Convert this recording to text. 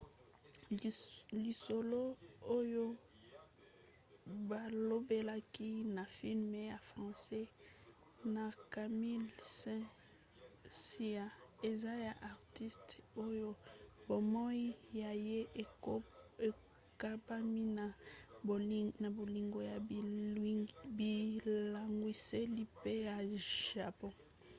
lisolo oyo balobelaki na filme ya france na camille saint-saens eza ya artiste oyo bomoi na ye ekambami na bolingo ya bilangwiseli pe ya japon.